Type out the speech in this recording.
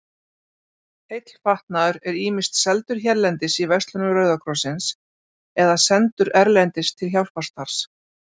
Heill fatnaður er ýmist seldur hérlendis í verslunum Rauða krossins eða sendur erlendis til hjálparstarfs.